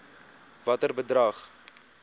watter bedrag